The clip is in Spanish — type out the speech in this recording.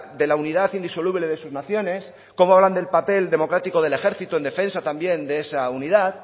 de la unidad indisoluble de sus naciones como hablan del papel democrático del ejército en defensa también de esa unidad